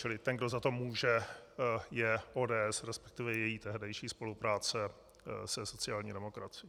Čili ten, kdo za to může, je ODS, respektive její tehdejší spolupráce se sociální demokracií.